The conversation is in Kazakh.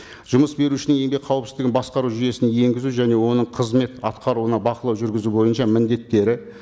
жұмыс берушінің еңбек қауіпсіздігін басқару жұйесін енгізу және оның қызмет атқаруына бақылау жүргізу бойынша міндеттері